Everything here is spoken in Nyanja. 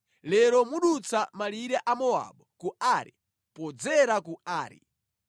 “Lero mudutsa malire a Mowabu ku Ari podzera ku Ari.